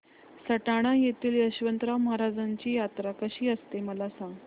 सटाणा येथील यशवंतराव महाराजांची यात्रा कशी असते मला सांग